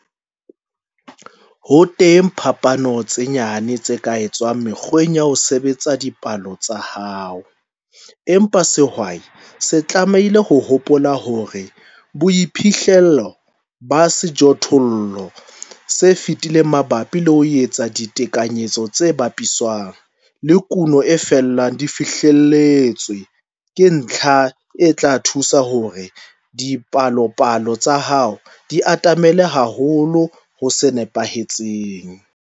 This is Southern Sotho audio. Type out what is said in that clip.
Ho teng phapano tse nyane tse ka etswang mekgweng ya ho sebetsa dipalo tsa hao, empa sehwai se tlamehile ho hopola hore boiphihlelo ba sejothollo se fetileng mabapi le ho etsa ditekanyetso tse bapiswang le kuno e felang e fihlelletswe, ke ntlha e tla thusa hore dipalopalo tsa hao di atamele haholo ho se nepahetseng.